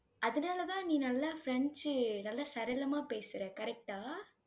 அதனாலதான், நீ நல்லா பிரெஞ்சு நல்லா சரளமா பேசுற correct ஆ?